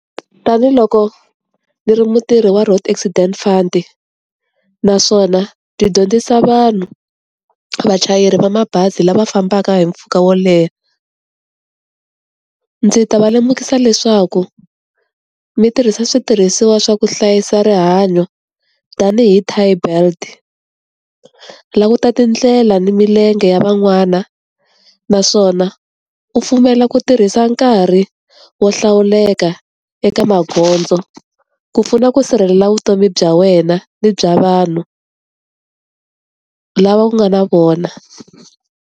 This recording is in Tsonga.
Tanihi loko ni ri mutirhi wa Road Accident Fund-i naswona ni dyondzisa vanhu, vachayeri va mabazi lava fambaka hi mpfhuka wo leha. Ndzi ta va lemukisa leswaku mi tirhisa switirhisiwa swa ku hlayisa rihanyo, tanihi tie belt. Languta ta tindlela ni milenge ya van'wana, naswona u pfumela ku tirhisa nkarhi wo hlawuleka eka magondzo ku pfuna ku sirhelela vutomi bya wena ni bya vanhu lava u nga na vona.